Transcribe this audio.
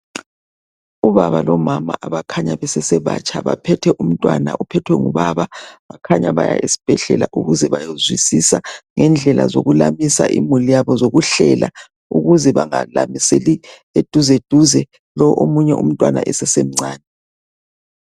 Ubaba lomama abakhanya besasebatsha baphethe umtwana uphethwe ngubaba bakhanyaa esibhedlela ukuze bayezwisisa indlela zokulamisa imuli yabo ngokuhlelaa ukuze bengalamiseli eduze duze lo umtwana esasemncane